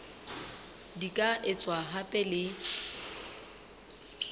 di ka etswa hape le